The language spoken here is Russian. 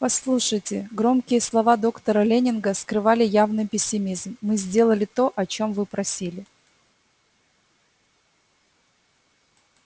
послушайте громкие слова доктора лэннинга скрывали явный пессимизм мы сделали то о чём вы просили